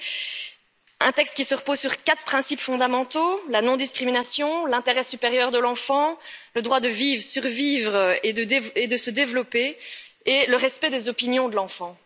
Ce texte repose sur quatre principes fondamentaux la non discrimination, l'intérêt supérieur de l'enfant, le droit de vivre, de survivre et de se développer, et le respect des opinions de l'enfant.